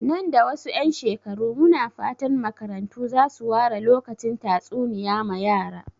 Nan da ɗan wasu shekaru, muna fatan makarantu za su ware lokacin tatsuniya ma yara.